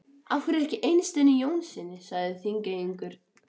Af hverju ekki Eysteini Jónssyni, sagði Þingeyingur.